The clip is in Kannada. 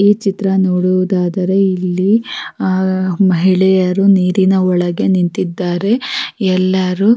ಈ ಚಿತ್ರ ನೋಡುವುದಾದರೆ ಇಲ್ಲಿ ಆಹ್ಹ್ ಮಹಿಳೆಯರು ನೀರಿನ ಒಳಗೆ ನಿಂತಿದ್ದಾರೆ ಎಲ್ಲರು--